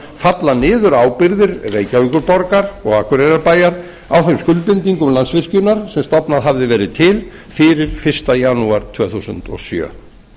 falla niður ábyrgðir reykjavíkurborgar og akureyrarbæjar á þeim skuldbindingum landsvirkjunar sem stofnað hafði verið til fyrir fyrsta janúar tvö þúsund og sjö